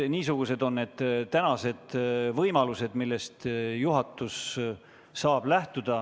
Niisugused on tänased võimalused, millest juhatus saab lähtuda.